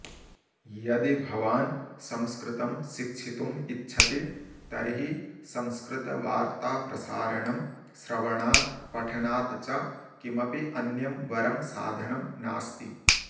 यदि भवान् संस्कृतं शिक्षितुम् इच्छति तर्हि संस्कृतवार्ताप्रसारणं श्रवणात् पठनात् च किमपि अन्यं वरं साधनं नास्ति